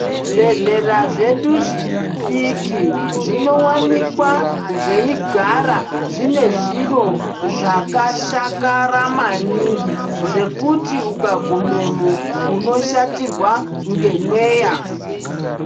Zvibhedhlera zvedu zvidiki zvinowanikwa zveigara zvine zviro zvakashakara maningi zvekuti ukagumemo, unoshatirwa ngemweya.